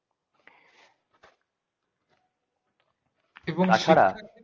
এবং তাছাড়া